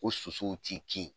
O sosow t'i kin.